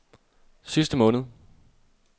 sidste måned